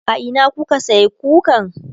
a Ina kuka sayi kukan?